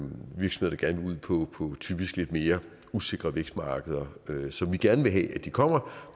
ud på typisk lidt mere usikre vækstmarkeder som vi gerne vil have at de kommer